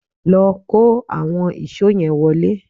Lọ kó àwọn ìṣó yẹn wọlé